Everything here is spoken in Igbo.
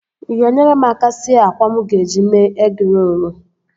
Ị ga-enyere m aka sie àkwá mụ ga-eji mee egịrolu?